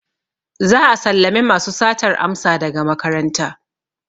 Za'a sallame masu satar amsa daga makaranta.